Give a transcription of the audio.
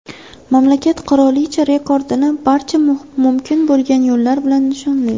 Mamlakat qirolicha rekordini barcha mumkin bo‘lgan yo‘llar bilan nishonlaydi.